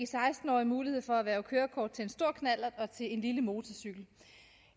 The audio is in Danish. seksten årige mulighed for at erhverve kørekort til en stor knallert og til en lille motorcykel